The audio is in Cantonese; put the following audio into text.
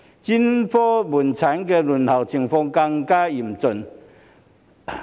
專科門診的輪候情況更為嚴峻。